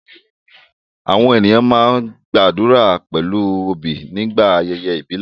Àwọn ènìyàn máa ń gbàdúrà pẹ̀lú obi nígbà ayẹyẹ ìbílẹ̀